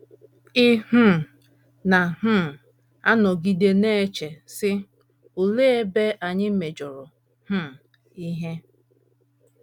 Ị um na um - anọgide na - eche, sị, ‘ Olee ebe anyị mejọrọ um ihe?